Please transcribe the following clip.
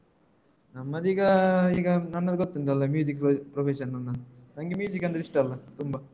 ನಮ್ಮದೀಗ ಈಗ ಈಗ ನನ್ನದು ಗೊತ್ತುಂಟಲ್ಲ music profession ನನ್ನು ನಂಗೆ music ಅಂದ್ರೆ ಇಷ್ಟ ಅಲ್ಲ ತುಂಬ.